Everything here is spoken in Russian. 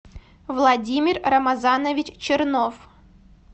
владимир рамазанович чернов